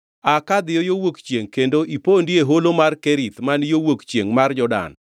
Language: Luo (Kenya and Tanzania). “Aa ka, dhi yo wuok chiengʼ kendo ipondi e holo mar Kerith man yo wuok chiengʼ mar Jordan.